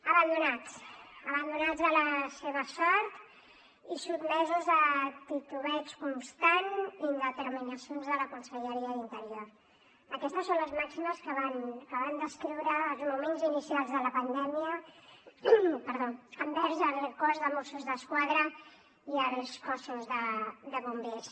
abandonats abandonats a la seva sort i sotmesos a titubeig constant i indeterminacions de la conselleria d’interior aquestes són les màximes que van descriure els moments inicials de la pandèmia envers el cos de mossos d’esquadra i els cossos de bombers